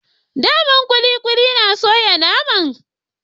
Da man kulikuli na soya naman